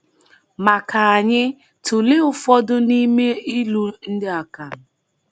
Ma ka anyị tụlee ụfọdụ n’ime ilu ndị Akan.